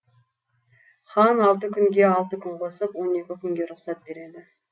хан алты күнге алты күн қосып он екі күнге рұқсат береді